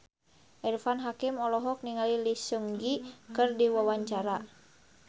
Irfan Hakim olohok ningali Lee Seung Gi keur diwawancara